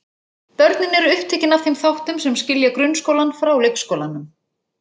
Börnin eru upptekin af þeim þáttum sem skilja grunnskólann frá leikskólanum.